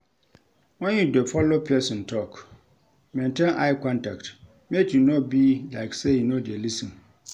When you dey follow person talk, maintain eye contact make e no be like sey you no dey lis ten